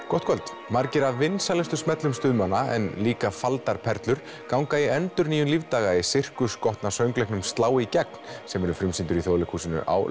gott kvöld margir af vinsælustu smellum stuðmanna en líka faldar perlur ganga í endurnýjun lífdaga í Sirkus skotna söngleiknum slá í gegn sem verður frumsýndur í Þjóðleikhúsinu á